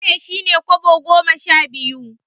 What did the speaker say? Sule shine Kobo goma sha biyu.